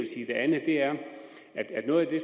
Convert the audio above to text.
sige det andet er at noget af det